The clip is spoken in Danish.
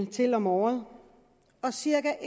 til om året og cirka